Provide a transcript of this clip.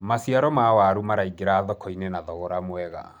maciaro ma waru maraingira thoko-inĩ na thogora mwega